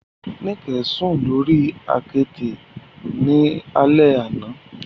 Nike sun lori akete ni alẹ ana